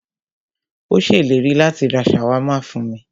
Ó ṣèlérí láti rá ṣàwámà fún mí.